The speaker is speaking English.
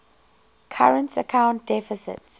current account deficit